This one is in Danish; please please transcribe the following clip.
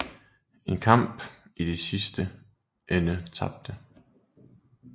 En kamp de i sidste ende tabte